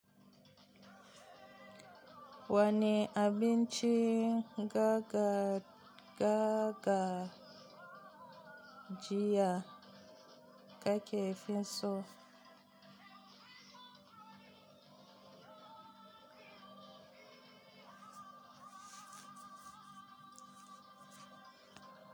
Wane abinci garga jiya, ka ke finso?